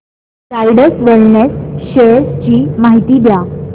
Zydus wellness shares ची माहिती द्या